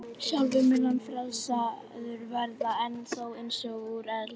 Sjálfur mun hann frelsaður verða, en þó eins og úr eldi.